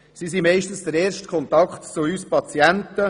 Hausärzte sind meist der erste Kontakt zu uns Patienten.